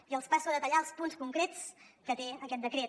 i els passo a detallar els punts concrets que té aquest decret